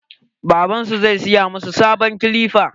Babban su zai saya masu sabon kilipa.